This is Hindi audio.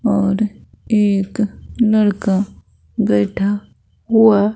और एक लड़का बैठा हुआ--